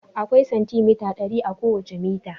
Akwai santimita dari a kowace mita.